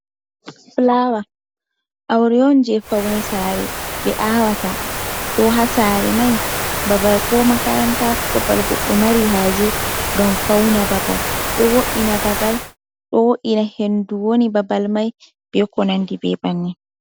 Flower aure on je faune sare ɓe awata ko hasare mai babal ko makaranta ko babal guɗɗo marihaje ngam fauna babal ɗo wo'ina babal ɗo wo'ina hendu je woni babal mai beko nandi be banni.